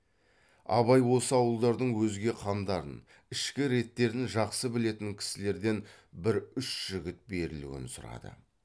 абай осы ауылдардың өзге қамдарын ішкі реттерін жақсы білетін кісілерден бір үш жігіт берілуін сұрады